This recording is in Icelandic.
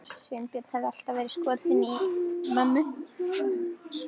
Sveinbjörn hafði alltaf verið skotinn í mömmu.